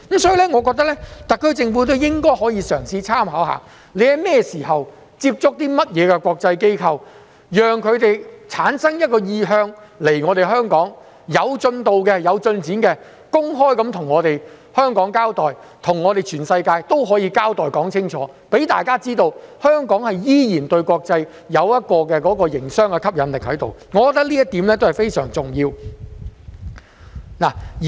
所以，我認為特區政府也應該嘗試參考，不論它在甚麼時間接觸了甚麼國際機構，讓它們產生意向前來香港，當有進度及進展時，便應該公開向香港交代，向全世界也交代清楚，讓大家知道香港依然對國際有着營商吸引力，我認為這一點便是相當重要的。